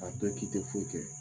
A dɔn k'i tɛ foyi kɛ.